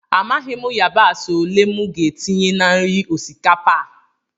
Amaghị m yabasị ole m ga-etinye na nri osikapa a